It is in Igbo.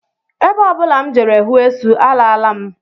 Ebe ọ bụla m jere hụ esu, alaala m